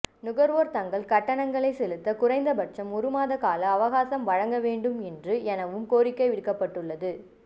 நுகர்வோர் தங்கள் கட்டணங்களை செலுத்த குறைந்தபட்சம் ஒரு மாத கால அவகாசம் வழங்க வேண்டும் என்று எனவும் கோரிக்கை விடுக்கப்பட்டுள்ளது